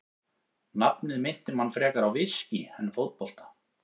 Nafnið minnti mann frekar á viskí en fótbolta.